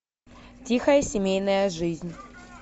тихая семейная жизнь